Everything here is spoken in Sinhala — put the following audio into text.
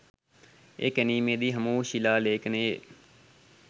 එය කැණීමේදී හමුවූ ශිලා ලේඛනයේ